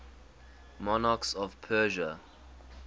monarchs of persia